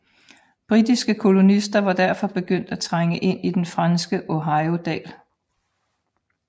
Britiske kolonister var derfor begyndt at trænge ind i den franske Ohiodal